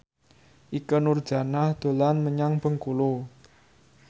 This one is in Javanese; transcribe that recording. Ikke Nurjanah dolan menyang Bengkulu